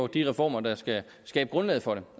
de reformer der skal skabe grundlaget for det